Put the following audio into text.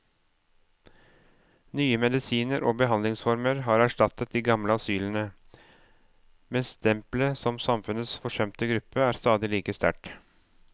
Nye medisiner og behandlingsformer har erstattet de gamle asylene, men stempelet som samfunnets forsømte gruppe er stadig like sterkt.